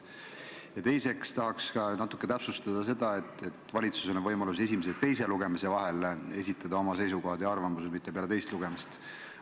Ja teiseks tahaks ma täpsustada seda, et valitsusel on võimalik esitada oma seisukohad ja arvamused esimese ja teise lugemise vahel, mitte peale teist lugemist.